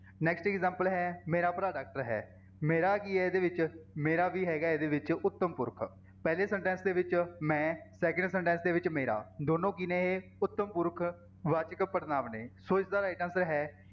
Next example ਹੈ ਮੇਰਾ ਭਰਾ doctor ਹੈ ਮੇਰਾ ਕੀ ਹੈ ਇਹਦੇ ਵਿੱਚ, ਮੇਰਾ ਵੀ ਹੈਗਾ ਇਹਦੇ ਵਿੱਚ ਉੱਤਮ ਪੁਰਖ, ਪਹਿਲੇ sentence ਦੇ ਵਿੱਚ ਮੈਂ second sentence ਦੇ ਵਿੱਚ ਮੇਰਾ, ਦੋਨੋਂ ਕੀ ਨੇ ਇਹ ਉੱਤਮ ਪੁਰਖ ਵਾਚਕ ਪੜ੍ਹਨਾਂਵ ਨੇ ਸੋ ਇਸਦਾ right answer ਹੈ